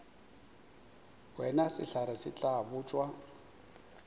wena sehlare se tla botšwa